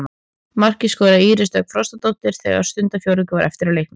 Markið skoraði Íris Dögg Frostadóttir þegar stundarfjórðungur var eftir af leiknum.